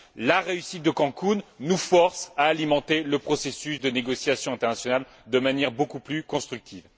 La réussite de Cancún nous force à alimenter le processus de négociation internationale de manière beaucoup plus constructive.